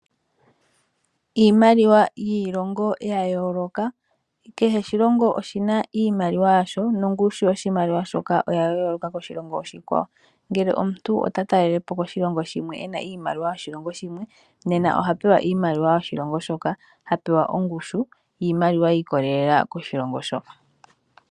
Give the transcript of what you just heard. Iimaliwa yiilongo yayoloka kehe oshilongo oshina iimaliwa yasho, nongushu yoshimaliwa shoka oya yoloka koshilongo oshikwawo, ngele omuntu otatalelepo koshilongo ena iimaliwa yoshilongo shimwe nena oha pewa iimaliwa yoshilongo shoka hapewa ongushu yimaliwa yikolela koshilongo shoka.